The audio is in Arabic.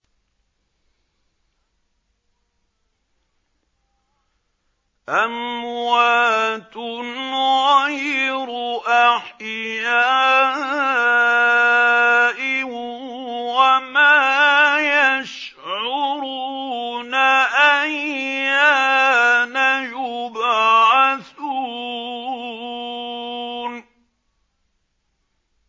أَمْوَاتٌ غَيْرُ أَحْيَاءٍ ۖ وَمَا يَشْعُرُونَ أَيَّانَ يُبْعَثُونَ